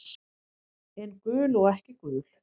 En gul og ekki gul.